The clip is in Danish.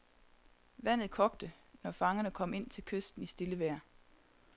Vandet kogte, når fangerne kom ind til kysten i stille vejr.